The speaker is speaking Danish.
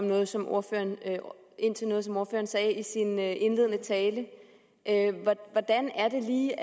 noget som ordføreren sagde i sin indledende tale hvordan er det lige